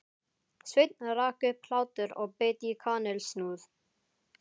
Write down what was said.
Sveinn rak upp hlátur og beit í kanilsnúð.